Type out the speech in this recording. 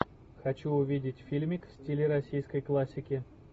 хочу увидеть фильмик в стиле российской классики